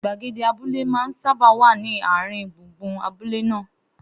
Gbagede abúlé máa ń sábà wà ní àárín gbùngbùn abúlé náà